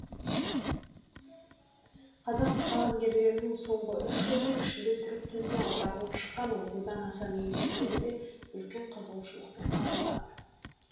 қазақ қаламгерлерінің соңғы үш жылдың ішінде түрік тіліне аударылып шыққан отыздан астам еңбектері де үлкен қызығушылықпен қабылданды